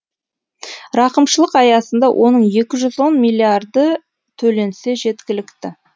рақымшылық аясында оның екі жүз он миллиарды төленсе жеткілікті